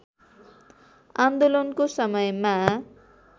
आन्दोलनको समयमा